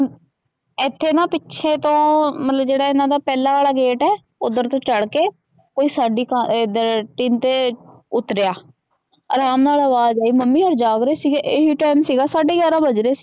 ਇਥੇ ਨਾ ਪਿਛੇ ਤੋ ਜੇਹੜਾ ਇਹਨਾ ਦਾ ਪਹਲਾ ਵਾਲਾ ਗੇਟ ਆ ਓਦਰ ਤੋ ਚੜ੍ਹ ਕੇ ਕੋਈ ਸਾਡੀ ਤੇ ਉਤਰਿਆ ਆਰਾਮ ਨਾਲ ਅਵਾਜ ਆਈ ਮਮੀ ਉਰਆ ਜਾਗ ਰਹੇ ਸੀਗੇ ਇਹੀ ਟਾਈਮ ਸੀਗਾ ਸਾਡੇ ਗਿਆਰਾਂ ਵਜ ਰਹੇ ਸੀਗੇ।